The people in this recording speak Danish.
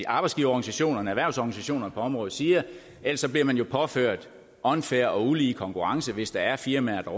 arbejdsgiverorganisationerne og erhvervsorganisationerne på området siger ellers bliver man jo påført unfair og ulige konkurrence hvis der er firmaer der